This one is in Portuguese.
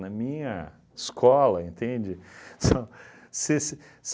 Na minha escola, entende? São se se